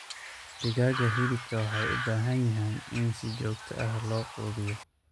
Digaaga hilibka waxay u baahan yihiin in si joogto ah loo quudiyo.